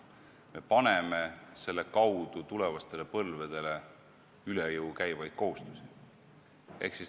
Me paneme sellega tulevastele põlvedele üle jõu käivaid kohustusi.